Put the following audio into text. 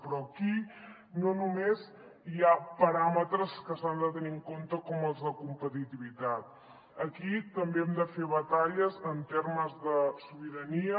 però aquí no només hi ha paràmetres que s’han de tenir en compte com els de competitivitat aquí també hem de fer batalles en termes de sobirania